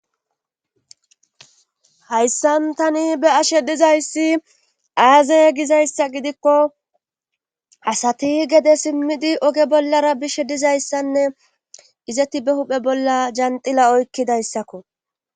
hayssan tani be ashe dizayssi aaze gizayssa gidikko asati gede simmidi oge bollara bishe dizayssanne izetti be huphe bolla janxila oykkidayssakko